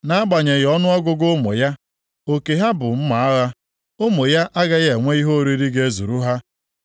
Nʼagbanyeghị ọnụọgụgụ ụmụ ya, oke ha bụ mma agha; ụmụ ya agaghị enwe ihe oriri ga-ezuru ha.